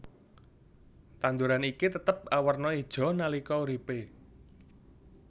Tanduran iki tetep awerna ijo nalika uripe